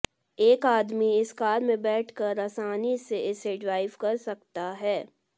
एक आदमी इस कार में बैठकर आसानी से इसे ड्राइव कर सकता है